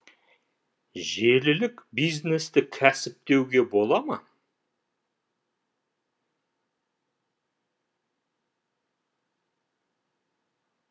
желілік бизнесті кәсіп деуге бола ма